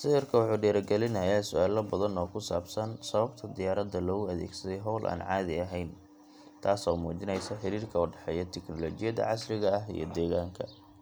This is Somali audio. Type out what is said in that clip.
Sawirka wuxuu dhiirrigelinayaa su’aalo badan oo ku saabsan sababta diyaaradda loogu adeegsaday hawl aan caadi ahayn, taasoo muujinaysa xiriirka u dhexeeya tiknoolajiyada casriga ah iyo deegaanka.